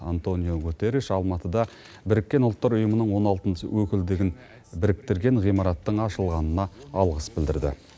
антониу гутерриш алматыда біріккен ұлттар ұйымының он алтыншы өкілдігін біріктірген ғимараттың ашылғанына алғыс білдірді